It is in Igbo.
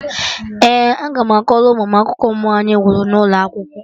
Ee, aga m akọrọ ụmụ m akụkọ mmụọ anyị hụrụ n'ụlọ akwụkwọ